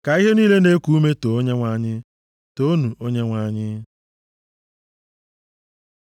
Ka ihe niile na-eku ume too Onyenwe anyị. Toonu Onyenwe anyị. + 150:6 Mgbe mmadụ na-eti, Toonu Onyenwe anyị, ya na onye na-eti Haleluya, na-ekwu otu ihe ahụ.